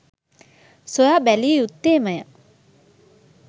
සොයා බැලිය යුත්තේමය.